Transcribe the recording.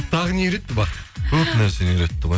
тағы не үйретті бақыт көп нәрсені үйретті ғой